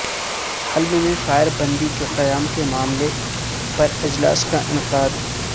حلب میں فائر بندی کے قیام کے معاملے پر اجلاس کا انعقاد